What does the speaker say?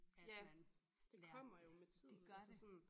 At man lærte det. Det gør det